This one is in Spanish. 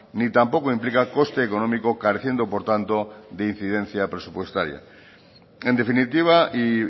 ni tampoco implica coste económico careciendo por tanto de incidencia presupuestaria en definitiva y